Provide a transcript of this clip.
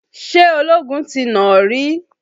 Ṣé ológun ti nà ó rí?